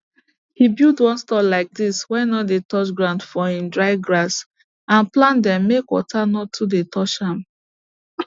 he build one store like dis wey no dey touch ground for im dry grass and plant dem make water no too dey touch am